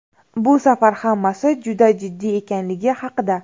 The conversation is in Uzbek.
Bu safar hammasi juda jiddiy ekanligi haqida.